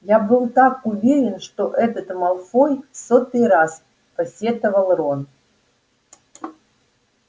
я был так уверен что этот малфой в сотый раз посетовал рон